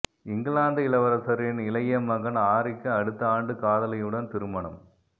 இங்கிலாந்து இளவரசரின் இளைய மகன் ஹாரிக்கு அடுத்த ஆண்டு காதலியுடன் திருமணம்